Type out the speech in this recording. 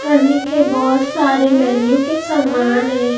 खाने के बहुत सारे मेन्यू के सामान हैं।